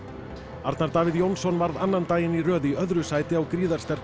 Arnar Davíð Jónsson varð annan daginn í röð í öðru sæti á